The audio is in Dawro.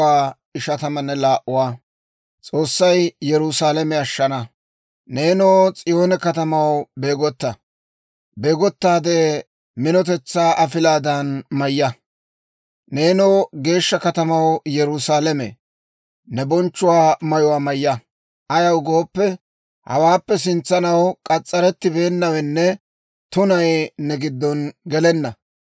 Neenoo S'iyoone katamaw, beegotta; minotetsaa afilaadan mayya. Neenoo, geeshsha katamaw, Yerusaalame, ne bonchchuwaa mayuwaa mayya; ayaw gooppe, hawaappe sintsanaw k'as's'arettibeennawenne tunay ne giddo gelenna.